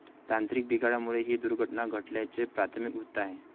तांत्रिक बिघाडामुळे ही दुर्घटना घडल्याचे प्राथमिक वृत्त आहे.